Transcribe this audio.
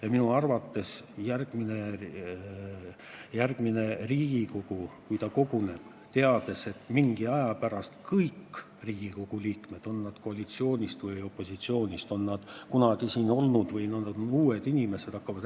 Ja minu arvates järgmine Riigikogu, kui ta on kokku tulnud, hakkab rääkima täpselt sama, olenemata sellest, kas tegu on koalitsiooni või opositsiooni liikmetega ja on need inimesed siin ka varem olnud või on nad uued inimesed.